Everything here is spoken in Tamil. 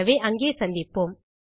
ஆகவே அங்கே சந்திப்போம்